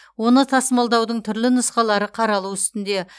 оны тасымалдаудың түрлі нұсқалары қаралу үстінде